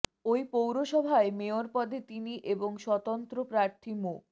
এ পৌরসভায় মেয়র পদে তিনি এবং স্বতন্ত্র প্রার্থী মো